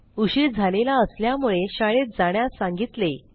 उशीर झालेला असल्यामुळे शाळेत जाण्यास सांगतिले